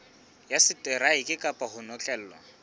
ya seteraeke kapa ho notlellwa